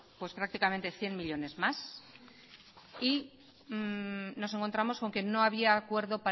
pues prácticamente cien millónes más y nos encontramos con que no había acuerdo